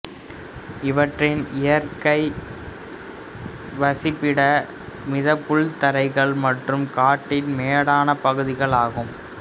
இவற்றின் இயற்கை வசிப்பிடம் மித புல்தரைகள் மற்றும் காட்டின் மேடான பகுதிகள் ஆகும்